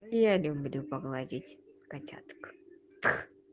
я люблю погладить котяток